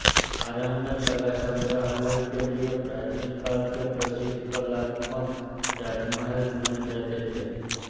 आरंभ में कला संग्रहालय के लिये प्राचीन काल के प्रसिद्ध कलात्मक राजमहल चुने जाते थे